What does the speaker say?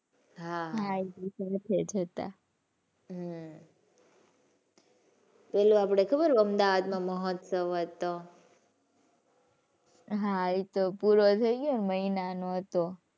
હાં હમ્મ. પેલો આપડે ખબર અમદાવાદ માં મહોત્સવ હતો? હાં એ તો પૂરો થઈ ગયો ને મહિના નો હતો.